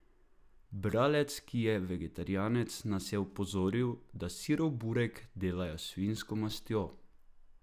Bralec, ki je vegetarijanec, nas je opozoril, da sirov burek delajo s svinjsko mastjo.